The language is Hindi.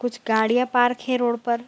कुछ गाड़िया पार्क हैं रोड पर।